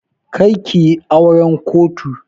Kar kiyi auran kotu!